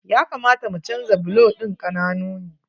Ya kamata mu canja bulo ɗin, ƙananu ne.